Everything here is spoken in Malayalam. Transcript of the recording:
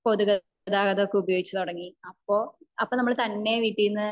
പൊതു ഗതാഗതം ഒക്കെ ഉപയോഗിച്ച് തുടങ്ങി അപ്പൊ അപ്പൊ നമ്മൾ തന്നെ വീട്ടീന്ന്